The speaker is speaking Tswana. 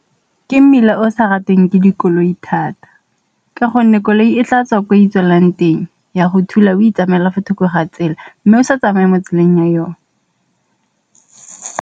Ke mmila o sa rateng ke dikoloi thata, ka gonne koloi e tla tswa ko itswelang teng ya go thula o itsamaela fo thoko ga tsela, mme o sa tsamaye mo tseleng ya yone.